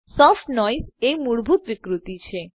soft noise એ મૂળભૂત વિકૃતિ છે